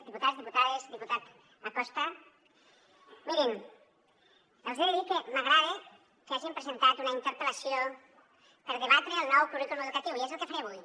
diputats diputades diputat acosta mirin els he de dir que m’agrada que hagin presentat una interpel·lació per debatre el nou currículum educatiu i és el que faré avui